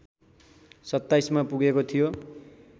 २७ मा पुगेको थियो